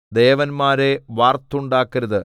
ദേവന്മാരെ വാർത്തുണ്ടാക്കരുത്